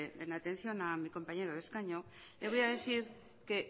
en atención a mi compañero de escaño le voy a decir que